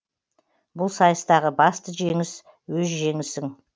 бұл сайыстағы басты жеңіс өз жеңісің